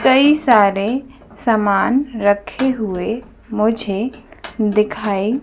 कई सारे सामान रखे हुए मुझे दिखाई--